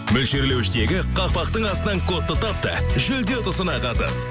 мөлшерлеуіштегі қақпақтың астынан кодты тап та жүлде ұтысына қатыс